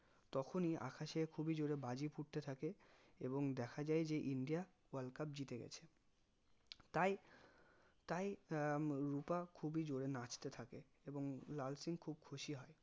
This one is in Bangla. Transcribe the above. তখনি খুবি জোরে বাজি ফুটতে থাকে এবং দেখা যাই যে ইন্ডিয়া world cup জিতে গেছে তাই তাই আহ রুপা খুবি জোরে নাচতে থাকে এবং লাল সিং খুবি খুশি হয়